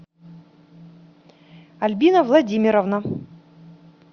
альбина владимировна